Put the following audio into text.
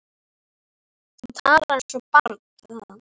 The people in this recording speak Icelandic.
Þú talar eins og barn sagði hann.